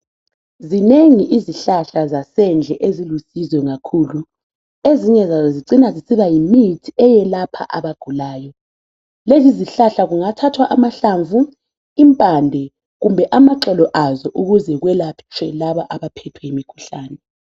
Zinengi izihlahla zasendle ezilusizo kakhulu, ezinye zazo zicina zisiba yimithi eyelapha abagulayo. Lezi izihlahla kungathathwa amahlamvu, impande kumbe amaxolo azo ukuze kwelatshwe laba abaphethwe yimikhuhlane.